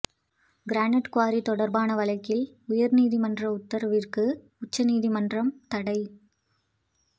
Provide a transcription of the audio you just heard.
granite quarry தொடர்பான வழக்கில் உயர் நீதிமன்ற உத்தரவுக்கு உச்ச நீதிமன்றம் தடை